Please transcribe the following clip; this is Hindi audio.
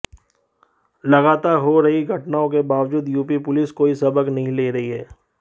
लगातार हो रही घटनाओं के बावजूद यूपी पुलिस कोई सबक नहीं ले रही है